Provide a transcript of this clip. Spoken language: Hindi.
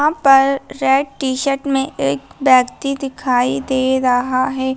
यहां पर रेड टी-शर्ट में एक व्यक्ति दिखाई दे रहा है।